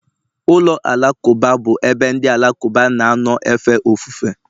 ụlọ alakụba bụ ebe ndị Alakụba na-anọ efe ofufe.